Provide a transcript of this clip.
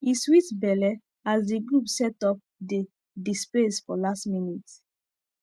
e sweet belle as the group set up the the space for last minute